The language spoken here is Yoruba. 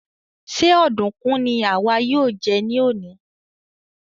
Ṣe ọdunkun ni àwa yóò jẹ ní òní?